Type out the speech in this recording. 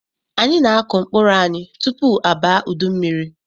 Anyị na-akụ mkpụrụ anyị tupu abaa udu mmiri.